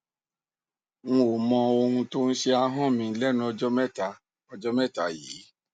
nò mọ ohun tó ń ṣe ahọn mi lẹnu ọjọ mẹta ọjọ mẹta yìí